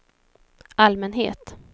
allmänhet